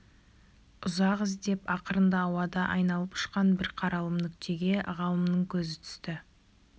ұзақ іздеп ақырында ауада айналып ұшқан бір қаралым нүктеге ғалымның көзі түсті